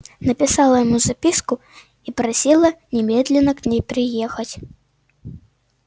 написала ему записку и просила немедленно к ней приехать